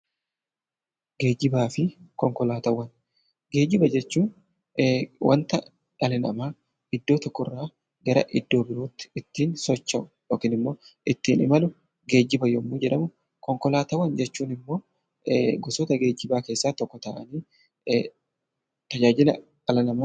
Geejjibaa fi konkolaataawwan Geejjiba jechuun wanta dhala namaa iddoo tokko irraa gara iddoo birootti ittiin socho'u yookiin immoo ittiin imalu 'Geejjiba' yommuu jedhamu; Konkolaataawwan jechuun immoo gosoota geejjibaa keessaa tokko ta'anii tajaajila dhala namaaf kennani.